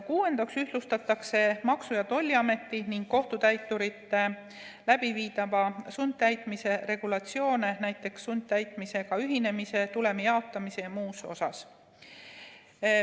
Kuuendaks ühtlustatakse Maksu‑ ja Tolliameti ning kohtutäiturite läbiviidava sundtäitmise regulatsioone, näiteks sundtäitmisega ühinemise, tulemi jaotamise ja muul puhul.